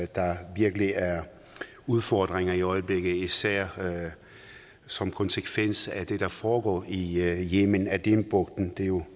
der virkelig er udfordringer i øjeblikket især som konsekvens af det der foregår i yemen adenbugten der jo